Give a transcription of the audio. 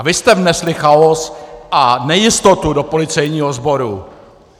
A vy jste vnesli chaos a nejistotu do policejního sboru.